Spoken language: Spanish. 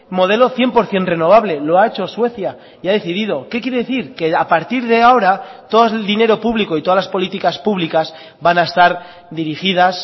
modelo cien por ciento renovable lo ha hecho suecia y ha decidido qué quiere decir que a partir de ahora todo el dinero público y todas las políticas públicas van a estar dirigidas